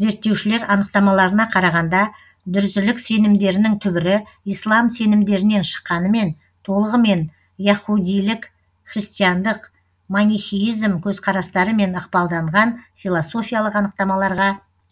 зерттеушілер анықтамаларына қарағанда дүрзілік сенімдерінің түбірі ислам сенімдерінен шыққанымен толығымен яһудилік христиандық манихеизм көзқарастарымен ықпалданған философиялық анықтамаларға